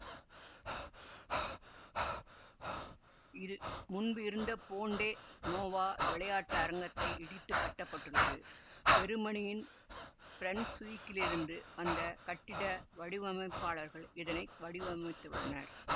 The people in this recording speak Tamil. இரு முன்பிருந்த பொன்டெ நோவா விளையாட்டரங்கத்தை இடித்து கட்ட பட்டுள்ளது செருமனியின் பிரன்சுவிக்கிலிருந்து வந்த கட்டிட வடிவமைப்பாளர்கள் இதனை வடிவமைத்துள்ளனர்